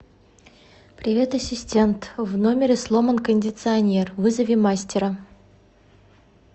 привет ассистент в номере сломан кондиционер вызови мастера